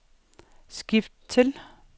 skift til